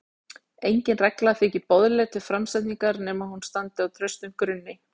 Engin regla þykir boðleg til framsetningar nema hún standi á traustum grunni.